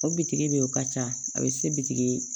O bitigi de o ka ca a bɛ se bitigi